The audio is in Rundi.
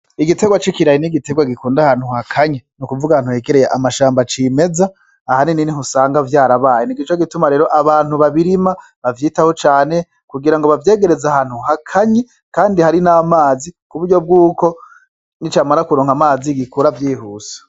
Igitegwa c'ikirayi n'igitegwa gikunda ahantu hakanye ni ukuvuga ahantu hegereye amashamba c'imeza ahanini niho usanga vyarabaye nico gituma rero abantu babirima bavyitaho cane kugirango bavyegereze ahantu hakanye kandi hari n'amazi kuburyo bwuko nicamara kuronka amazi gikura vyihuse.